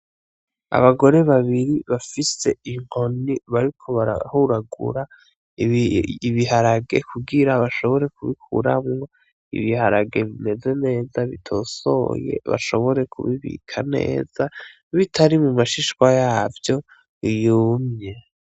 Abagore babiri bafise inkoni bariko barahuragura ibiharage kugira bashobore kubikuramwo ibiharage bimeze neza bitosoye bashobore kubibika neza bitari mu mashishwa yavyo yumye.